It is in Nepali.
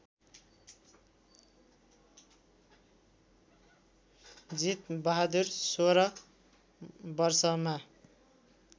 जीतबहादुर १६ वर्षमा